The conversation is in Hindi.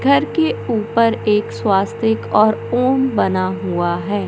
घर के ऊपर एक स्वास्तिक और ओम बना हुआ है।